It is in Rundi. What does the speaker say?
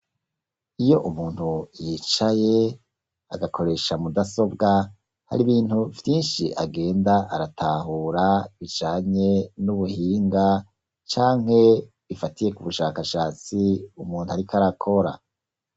Iyo umuntu yicaye agakoresha mudasobwa hari ibintu vyinshi agenda aratahura bijanye n'ubuhinga canke bifatiye ku bushakashatsi umuntu ariko arakora.